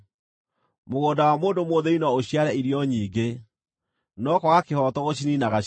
Mũgũnda wa mũndũ mũthĩĩni no ũciare irio nyingĩ, no kwaga kĩhooto gũciniinaga ciothe.